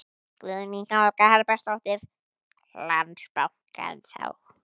Guðný Helga Herbertsdóttir: Landsbankann þá?